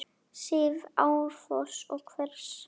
sifji árfoss og hvers!